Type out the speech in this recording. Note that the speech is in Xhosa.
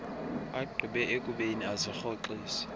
agqibe ukubeni azirhoxise